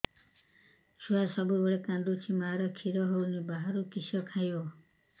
ଛୁଆ ସବୁବେଳେ କାନ୍ଦୁଚି ମା ଖିର ହଉନି ବାହାରୁ କିଷ ଖାଇବ